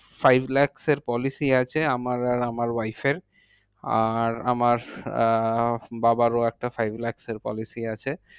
Five lakh এর policy আছে আমার আর আমার wife এর আর আমার আহ বাবারও একটা five lakh এর policy আছে।